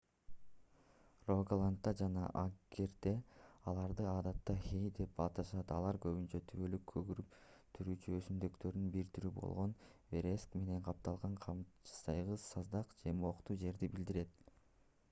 рогаландда жана агдерде аларды адатта хэй деп аташат алар көбүнчө түбөлүк көгөрүп туруучу өсүмдүктөрдүн бир түрү болгон вереск менен капталган капчыгайсыз саздак же мохтуу жерди билдирет